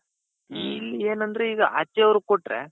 ಇಲ್ಲೇನಂದ್ರೆ ಈಗ್ ಆಚೆ ಅವರಿಗೆ ಕೊಟ್ರೆ.